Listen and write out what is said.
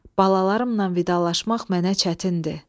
Balalarımla vidalaşmaq mənə çətindir.